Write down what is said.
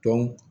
Dɔn